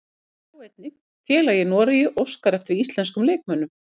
Sjá einnig: Félag í Noregi óskar eftir íslenskum leikmönnum